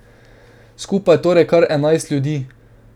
Skupaj torej kar enajst ljudi.